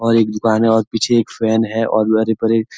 और एक दुकान है और पीछे एक फैन है और --